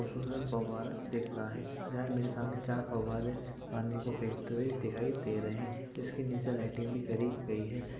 फौवारा दिख रहा है। यहाँ मेरे सामने चार फौवारे पानी को फेकते हुए दिखाई दे रहे हैं। इसके नीचे लाइटिंग भी करी गयी है।